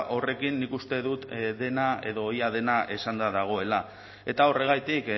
horrekin nik uste dut dena edo ia dena esanda dagoela eta horregatik